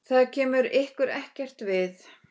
Það kemur ykkur ekkert við.